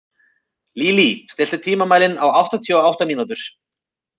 Lílý, stilltu tímamælinn á áttatíu og átta mínútur.